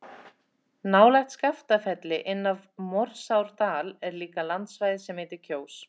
Nálægt Skaftafelli, inn af Morsárdal er líka landsvæði sem heitir Kjós.